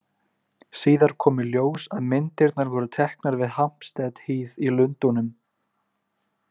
Síðar kom í ljós að myndirnar voru teknar við Hampstead Heath í Lundúnum.